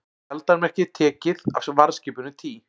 Skjaldarmerkið tekið af varðskipinu Tý